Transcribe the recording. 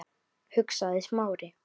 hugsaði Smári.